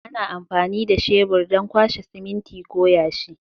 Ana amfani da shebur don kwashe siminti ko yashi.